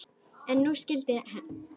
En nú skyldi hefnt.